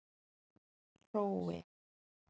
Hrói